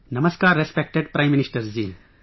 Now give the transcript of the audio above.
Namaskar respected Prime Minister ji